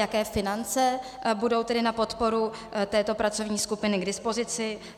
Jaké finance budou tedy na podporu této pracovní skupiny k dispozici?